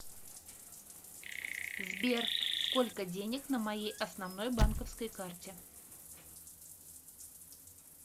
сбер сколько денег на моей основной банковской карте